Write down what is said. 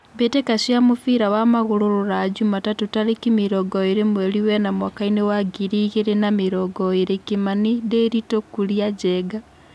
Mbĩ tĩ ka cia mũbira wa magũrũ Ruraya Jumatatũ tarĩ ki mĩ rongo ĩ rĩ mweri wena mwakainĩ wa ngiri igĩ rĩ na mĩ rongo ĩ rĩ : Kimani, Ndiritu, Kuria, Njenga.